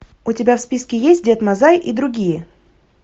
у тебя в списке есть дед мазай и другие